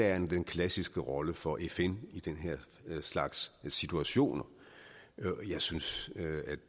er jo den klassiske rolle for fn i den her slags situationer jeg synes